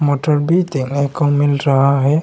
Motor भी देखने को मिल रहा है।